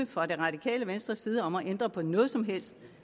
fra det radikale venstres side om at ændre på noget som helst